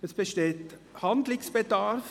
Es besteht Handlungsbedarf.